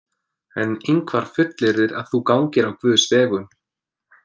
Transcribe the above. En Ingvar fullyrðir að þú gangir á Guðs vegum.